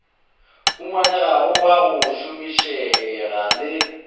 humanegago wa go šomišega le